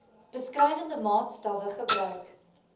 beskrywende maatstawwe gebruik